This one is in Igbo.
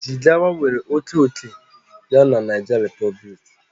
Jigawa nwere oke ókè ya na Niger Republic